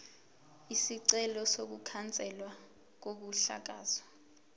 isicelo sokukhanselwa kokuhlakazwa